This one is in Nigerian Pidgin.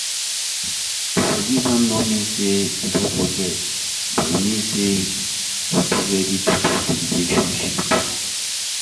To forgive no mean sey you don forget but e mean sey you do ready to build di relationship